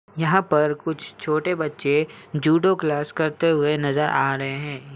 यहाँ पर कुछ छोटे बच्चे जुडो क्लास करते हुए नजर आ रहे हैं।